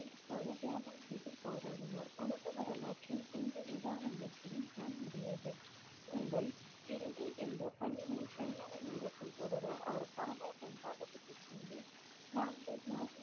தியாகம் செய்து போராடினர் உலக வரலாற்றில் எந்த உதாரணத்தையும் காணமுடியாது உங்கள் இறுதி இந்த பணியில் சரியான நேரத்தில் தொடர அவர் பாவா பன்ரா கீழ் நான்கு